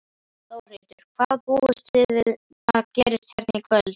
Þórhildur: Hvað búist þið við að gerist hérna í kvöld?